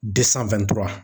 De sanfɛ